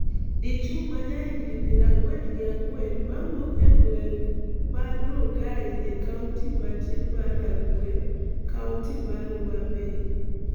Dichuo ma jahigni piero ang'wen gi ang'wen mawuok e gweng' mar Rangai e kaonti matin mar Rangwe, kaonti mar Homa Bay